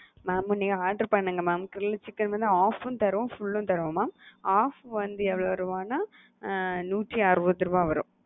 mam நீங்க order பண்ணுங்க mam grill chicken வந்து half உம் தரோம் full உம் தரோம் mam half வந்து எவ்ளோ ரூவானா நூத்தி அறுபது ரூவா வரும்.